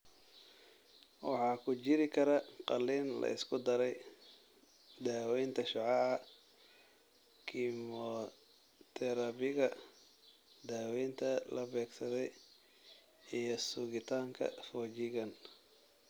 Waxa ku jiri kara qalliin la isku daray, daawaynta shucaaca, kiimoterabiga, daawaynta la beegsaday, iyo sugitaanka foojigan.